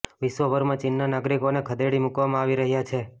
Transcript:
વિશ્વભરમાં ચીનના નાગરિકોને ખદેડી મુકવામાં આવી રહ્યા છે